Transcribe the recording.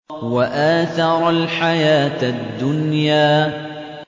وَآثَرَ الْحَيَاةَ الدُّنْيَا